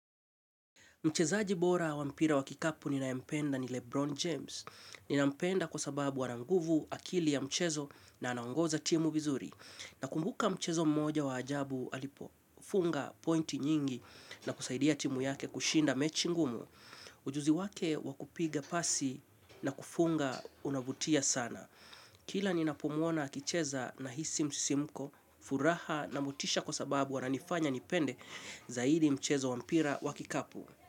Mchezaji bora wa mpira wa kikapu ninayempenda ni Lebron James. Ninampenda kwa sababu ana nguvu akili ya mchezo na anaongoza timu vizuri. Nakumbuka mchezo mmoja wa ajabu alipofunga pointi nyingi na kusaidia timu yake kushinda mechi ngumu. Ujuzi wake wa kupiga pasi na kufunga unavutia sana. Kila ninapomuona akicheza nahisi msisimko furaha na motisha kwa sababu ananifanya nipende zaidi mchezo wa mpira wa kikapu.